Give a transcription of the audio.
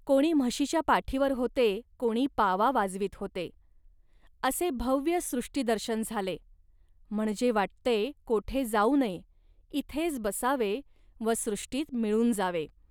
कोणी म्हशीच्या पाठीवर होते, कोणी पावा वाजवीत होते. असे भव्य सृष्टिदर्शन झाले, म्हणजे वाटते कोठे जाऊ नये, इथेच बसावे व सृष्टीत मिळून जावे